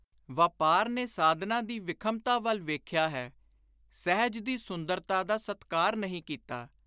ਵਾਪਾਰ ਨੇ ਸਾਧਨਾ ਦੀ ਵਿਖਮਤਾ ਵੱਲ ਵੇਖਿਆ ਹੈ; ਸਹਿਜ ਦੀ ਸੁੰਦਰਤਾ ਦਾ ਸਤਿਕਾਰ ਨਹੀਂ ਕੀਤਾ।